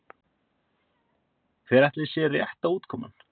Hver ætli sé rétta útkoman?